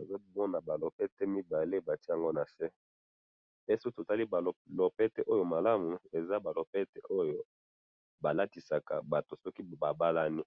ezali lopete 2 batiye yango nase pe soki tomoni bien malamu ezali ba lopete balatisaka batu soki babalani.